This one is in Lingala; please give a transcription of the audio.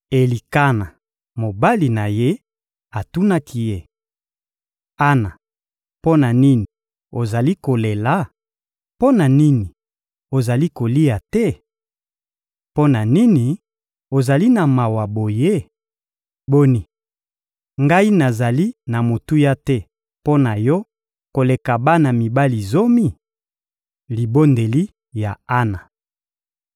Elikana, mobali na ye, atunaki ye: «Ana, mpo na nini ozali kolela? Mpo na nini ozali kolia te? Mpo na nini ozali na mawa boye? Boni, ngai nazali na motuya te mpo na yo koleka bana mibali zomi?» Libondeli ya Ana